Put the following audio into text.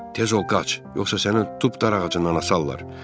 Tez ol, qaç, yoxsa səni tutub darağacından asarlar.